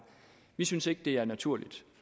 vi synes ikke det er naturligt